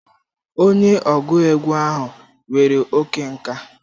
Onye ọgụ egwu ahụ nwere oke nka.